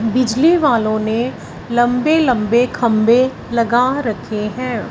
बिजली वालों ने लंबे लंबे खंबे लगा रखे हैं।